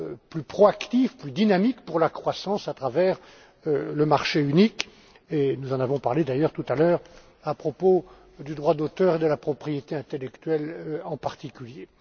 plus proactif, plus dynamique, pour la croissance à travers le marché unique. Nous en avons d'ailleurs parlé tout à l'heure, à propos du droit d'auteur et de la propriété intellectuelle en particulier.